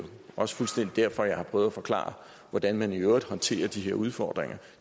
også derfor jeg har prøvet at forklare hvordan man i øvrigt håndterer de her udfordringer